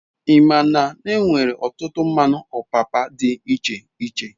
Ima n'enwere otutu mmanu opapa d'iche iche